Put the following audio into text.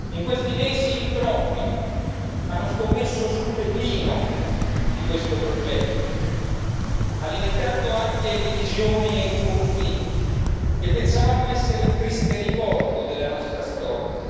In questi mesi in troppi hanno scommesso sul declino di questo progetto, alimentando anche divisioni e conflitti che pensavamo essere un triste ricordo della nostra storia.